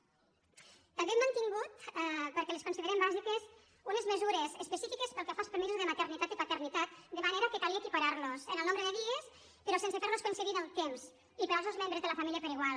també hem mantingut perquè les considerem bàsiques unes mesures específiques pel que fa als permisos de maternitat i paternitat de manera que calia equipararlos en el nombre de dies però sense ferlos coincidir en el temps i per als dos membres de la família per igual